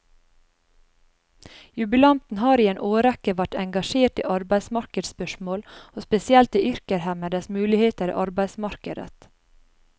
Jubilanten har i en årrekke vært engasjert i arbeidsmarkedsspørsmål, og spesielt i yrkeshemmedes muligheter i arbeidsmarkedet.